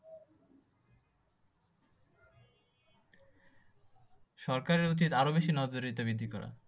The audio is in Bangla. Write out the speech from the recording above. সরকারের উচিত আরও বেশি নজর এটা বৃদ্ধি করা।